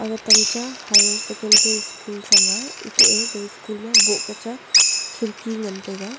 gatamcha higher secondary school chang a eto e ga school a boh chang a khirki ngan taiga.